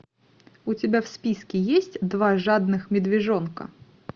у тебя в списке есть два жадных медвежонка